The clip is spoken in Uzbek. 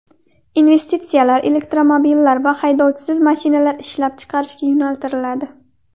Investitsiyalar elektromobillar va haydovchisiz mashinalar ishlab chiqarishga yo‘naltiriladi.